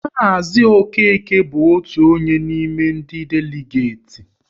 Maazi Okeke bụ otu onye n'ime ndị deligeti